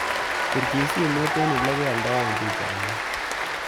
Pirchi simet eng olegioldoen pisainik